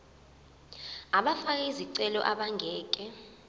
abafake izicelo abangeke